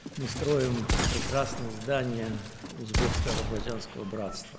Biz Özbəkistan-Azərbaycan qardaşlığının gözəl binasını qururuq.